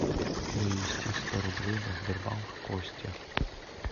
перевести сто рублей на сбербанк костя